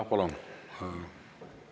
Jah, palun!